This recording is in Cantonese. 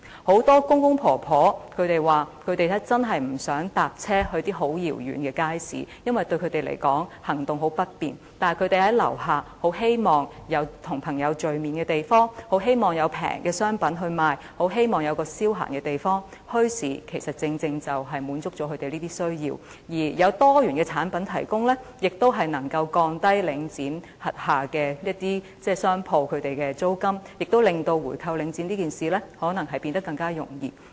很多公公婆婆說他們真的不願意乘車到遙遠的街市，因為他們行動相當不便，而且他們很希望在居所樓下便有跟朋友聚會的地方，很希望有便宜的商品發售，很希望有一個消閒的地方，墟市正正可以滿足他們這些需要，而多元產品的提供，也可降低領展轄下商鋪的租金，亦可能令回購領展變得更為容易。